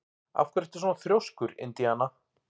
Af hverju ertu svona þrjóskur, Indiana?